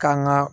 Kan ga